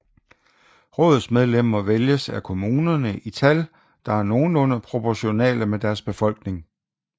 Rådsmedlemmer vælges af kommunerne i tal der er nogenlunde proportionale med deres befolkning